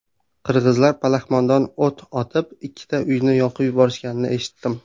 Qirg‘izlar palaxmondan o‘t otib, ikkita uyni yoqib yuborishganini eshitdim.